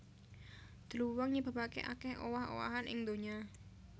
Dluwang nyebabaké akèh owah owahan ing donya